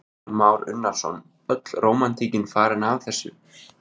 Kristján Már Unnarsson: Öll rómantík farin af þessu?